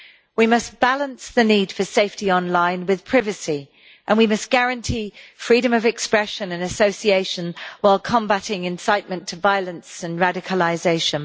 We must balance the need for safety online with privacy, and we must guarantee freedom of expression and association, while combating incitement to violence and radicalisation.